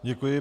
Děkuji.